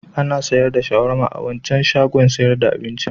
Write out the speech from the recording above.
Ana sayar da shawarma a wancan shagon sayar da abincin.